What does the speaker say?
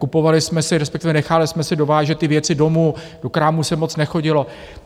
Kupovali jsme si, respektive nechali jsme si dovážet ty věci domů, do krámu se moc nechodilo.